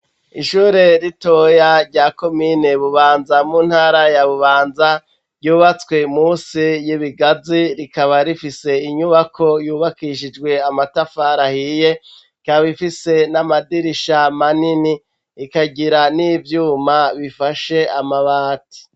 Ishure ritoya rya komine Bubanza mu ntara ya Bubanza ryubatswe musi y'ibigazi rikaba rifise inyubako yubakishijwe amatafar'ahiye rikaba ifise n'amadirisha manini ikagira n'ivyuma bifashe amabati